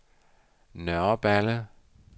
Nørreballe